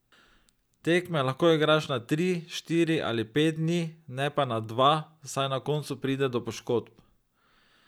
Tekme lahko igraš na tri, štiri ali pet dni, ne pa na dva, saj na koncu pride do poškodb.